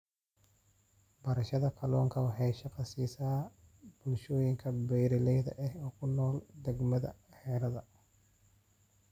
Beerashada kalluunka waxay shaqo siisaa bulshooyinka beeralayda ah ee ku nool deegaannada harada.